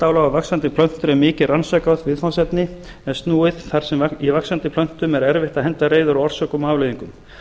saltálag á vaxandi plöntur er mikið rannsakað viðfangsefni en snúið þar sem í vaxandi plöntum er erfitt að henda reiður á orsökum og afleiðingum